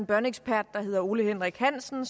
børneekspert der hedder ole henrik hansen